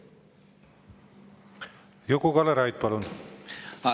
Juku-Kalle Raid, palun!